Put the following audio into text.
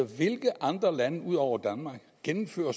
hvilke andre lande ud over danmark gennemfører